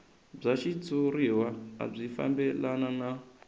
bya xitshuriwa byi fambelana na